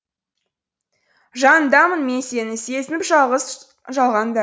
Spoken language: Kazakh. жаныңдамын мен сенің сезініп жалғыз жалғанда